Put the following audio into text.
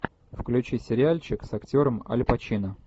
включи сериальчик с актером аль пачино